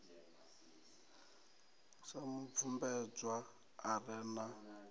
sa mubvumbedzwa a re na